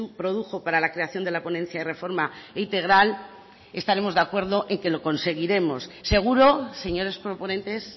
produjo para la creación de la ponencia de reforma integral estaremos de acuerdo en que lo conseguiremos seguro señores proponentes